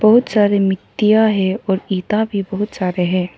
बहुत सारे मिट्टियां है और ईटा भी बहुत सारे हैं।